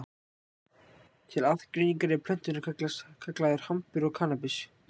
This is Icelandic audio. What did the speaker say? til aðgreiningar eru plönturnar kallaðar hampur og kannabis